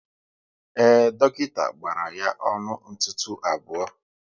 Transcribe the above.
Ee, dọkịta gbara ya ọnụ ntụtụ abụọ